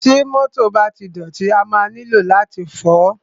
Ti mọ́tọ̀ bá ti dọ̀tí, a máa nílò láti fọ̀ọ́.